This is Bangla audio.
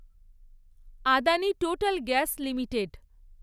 Adani total gas limited